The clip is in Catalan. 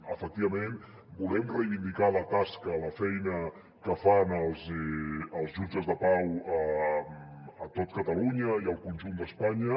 efectivament volem reivindicar la tasca la feina que fan els jutges de pau a tot catalunya i al conjunt d’espanya